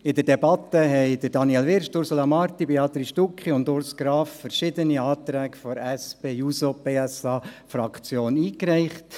In der Debatte haben Daniel Wyrsch, Ursula Marti, Béatrice Stucki und Urs Graf verschiedene Anträge seitens der SP-JUSO-PSA-Fraktion eingereicht.